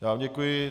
Já vám děkuji.